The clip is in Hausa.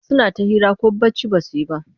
Suna ta hira ko bacci ba su yi ba.